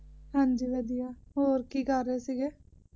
ਹਾਂਜੀ ਵਧੀਆ ਹੋਰ ਕਿ ਕਰ ਰਹੇ ਸਿਗੇ